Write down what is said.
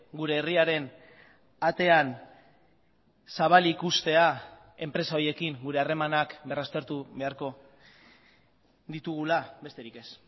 gure herriaren atean zabalik uztea enpresa horiekin gure harremanak berraztertu beharko ditugula besterik ez